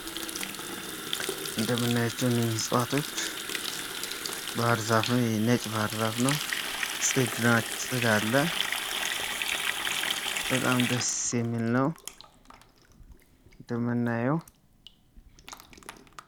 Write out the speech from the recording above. እንደምናያቸው እነኚህ እጽዋቶች ባህር ዛፍም የነጭ ባሕር ዛፍ ነው፤ ጽግር አለ። በጣም ደስ የሚል ነው የምናየው።.